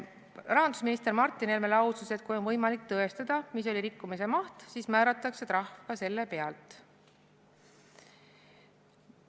Rahandusminister Martin Helme lausus, et kui on võimalik tõestada, mis oli rikkumise maht, siis määratakse trahv ka selle pealt.